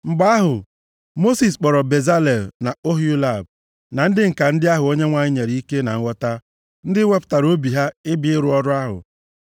Mgbe ahụ, Mosis kpọrọ Bezalel na Oholiab na ndị ǹka ndị ahụ Onyenwe anyị nyere ike na nghọta, ndị wepụtara obi ha ịbịa ịrụ ọrụ ahụ.